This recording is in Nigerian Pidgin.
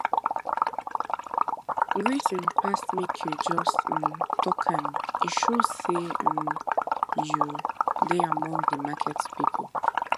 greeting pass make you jus um talk am e show say um you de among the market people